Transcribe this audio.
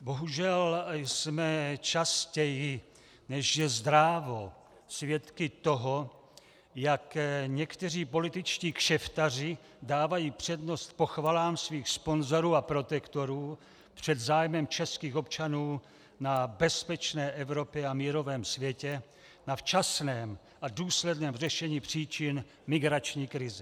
Bohužel jsme častěji, než je zdrávo, svědky toho, jak někteří političtí kšeftaři dávají přednost pochvalám svých sponzorů a protektorů před zájmem českých občanů na bezpečné Evropě a mírovém světě, na včasném a důsledném řešení příčin migrační krize.